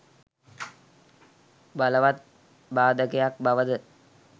බලවත් බාධකයක් බව ද